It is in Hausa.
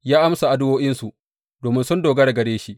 Ya amsa addu’o’insu, domin sun dogara gare shi.